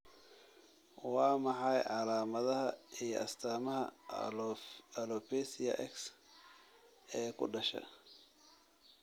Waa maxay calaamadaha iyo astaamaha alopecia X ee ku dhasha?